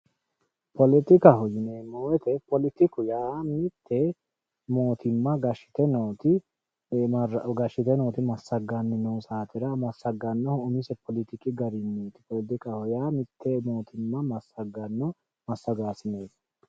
Politikkaho yineemmo woyte poletikkaho yaa mite mootimma gashite nooti massgani gashite noo saatera massaganohu umise poletikki gariniti ,poletikkaho yaa mite massagano massagaanoti.